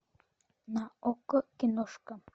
на окко киношка